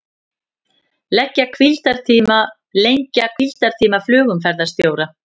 Lengja hvíldartíma flugumferðarstjóra